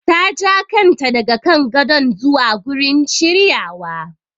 Ta ja kanta daga kan gadon zuwa gurin shiryawa.